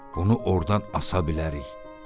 Bunu ordan asa bilərik.